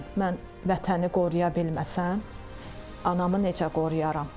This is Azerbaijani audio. Mən vətəni qoruya bilməsəm, anamı necə qoruyaram?